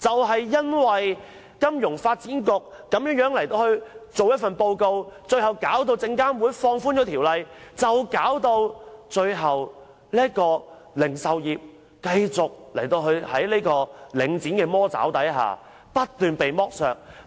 正因為金發局所發表的報告，最終導致證監會放寬條例，而零售業界在領展的"魔爪"下不斷被剝削。